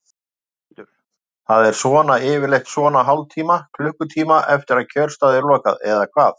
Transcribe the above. Þórhildur: Það er svona yfirleitt svona hálftíma, klukkutíma eftir að kjörstað er lokað eða hvað?